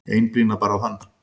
Einblíndi bara á hann.